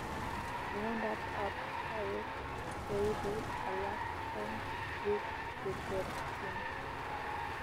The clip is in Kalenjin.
Miondap ap kawek koipu alak eng piik cheterchin